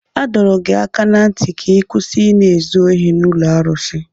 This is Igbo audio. A dọrọ gị aka ná ntị ka ị kwụsị Ị na-ezu ohi n'ụlọ arụsị!